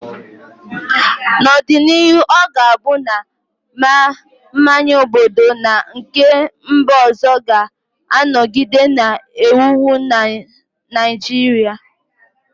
N'ọdịnihu, ọ ga-abụ na ma mmanya obodo na nke mba ọzọ ga-anọgide na-ewu ewu na Naịjirịa